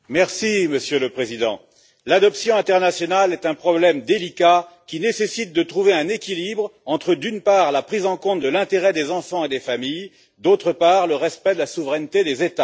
Monsieur le Président, l'adoption internationale est un problème délicat qui nécessite de trouver un équilibre entre, d'une part, la prise en compte de l'intérêt des enfants et des familles, et, d'autre part, le respect de la souveraineté des États.